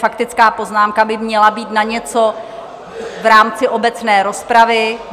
Faktická poznámka by měla být na něco v rámci obecné rozpravy.